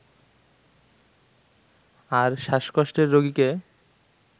আর শ্বাসকষ্টের রোগীকে